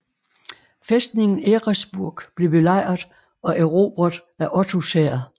Fæstningen Eresburg blev belejret og erobret af Ottos hær